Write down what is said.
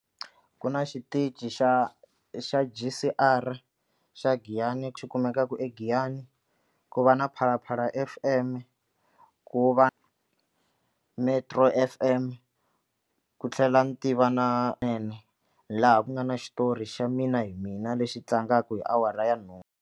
Ku na xitichi xa xa G_C_R xa Giyani xi kumekaka eGiyani ku va na Phalaphala F_M ku va Metro F_M ku tlhela ni tiva na laha ku nga na xitori xa Mina Hi Mina lexi tlangaka hi awara ya nhungu.